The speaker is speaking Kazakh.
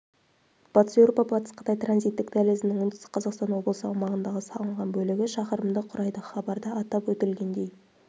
батыс еуропа-батыс қытай транзиттік дәлізінің оңтүстік қазақстан облысы аумағындағы салынған бөлігі шақырымды құрайды хабарда атап өтілгендей